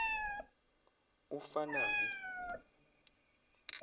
ufanabi